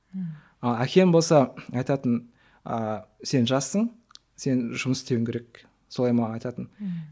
ммм әкем болса айтатын ыыы сен жассың сен жұмыс істеуің керек солай маған айтатын ммм